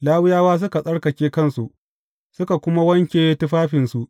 Lawiyawa suka tsarkake kansu, suka kuma wanke tufafinsu.